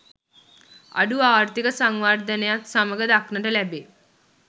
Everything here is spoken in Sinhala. අඩු ආර්ථීක සංවර්ධනයත් සමඟ දක්නට ලැබේ.